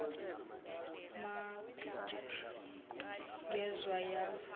maar ngezwa yazi